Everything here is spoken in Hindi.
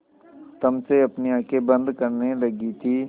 तम से अपनी आँखें बंद करने लगी थी